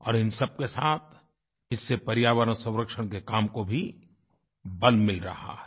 और इन सबके साथ इससे पर्यावरणसंरक्षण के काम को भी बल मिल रहा है